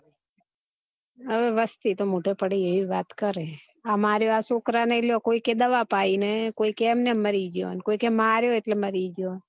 હવે વસ્તી તો મોઢે પઢે હવે એવી વાતો કરે અમારે આ છોકરાં ને કોઈ કે દવા પાઈ ને કોઈ કે એમ નેમ મરી જાયો ને કોઈ કે માર્યો એટલે મરી ગયો